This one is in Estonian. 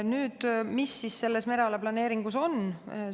Nüüd, mis selles mereala planeeringus on?